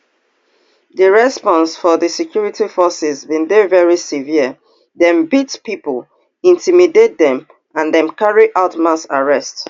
di response of di security forces bin dey very severe dem beat pipo intimidate dem and dem carry out mass arrests